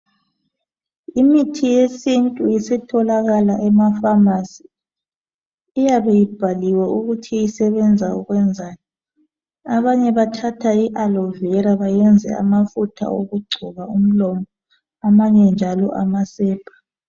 Imithi yesintu isitholakala emafamasi. Iyabe ibhaliwe ukuthi isebenza ukwenzani. Abanye bathatha I alovera bayenze amafutha okugcoba umlomo. Abanye njalo amasepa.